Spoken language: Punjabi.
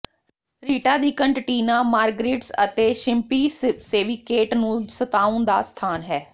ਰੀਟਾ ਦੀ ਕੰਟਟੀਨਾ ਮਾਰਗਰਿਟਸ ਅਤੇ ਸ਼ਿੰਪੀ ਸੇਵੀਕੇਟ ਨੂੰ ਸੁੱਤਾਉਣ ਦਾ ਸਥਾਨ ਹੈ